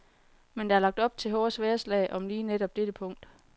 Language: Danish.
Men der er lagt op til hårde sværdslag om lige netop dette punkt.